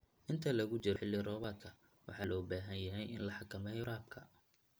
Inta lagu jiro xilli roobaadka, waxa loo baahan yahay in la xakameeyo waraabka.